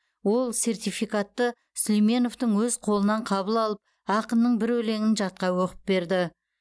ол сертификатты сүлейменовтің өз қолынан қабыл алып ақынның бір өлеңін жатқа оқып берді